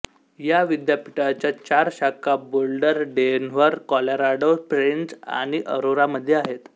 या विद्यापीठाच्या चार शाखा बोल्डर डेन्व्हर कॉलोराडो स्प्रिंग्ज आणि अरोरामध्ये आहेत